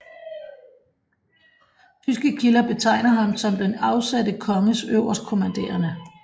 Tyske kilder betegner ham som den afsatte konges øverstkommanderende